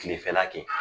Kilefɛla kɛ